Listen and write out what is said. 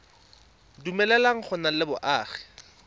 dumeleleng go nna le boagi